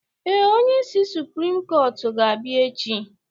Ee, onyeisi suprim kọtụ ga-abịa echi